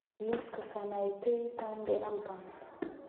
liiska sanaipei tande albums